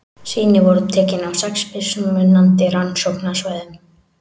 Sýni voru tekin á sex mismunandi rannsóknarsvæðum.